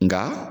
Nga